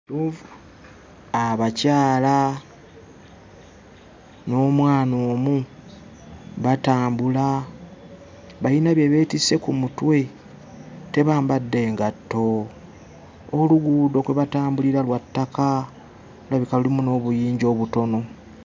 Abakyala n'omwana omu batambula, bayina bye beetisse ku mutwe, tebambadde ngatto! Oluguudo kwe batambulira lwa ttaka, lulabika lulimu n'obuyinja obutono.